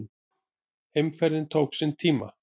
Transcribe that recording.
Heimferðin tók sinn tíma.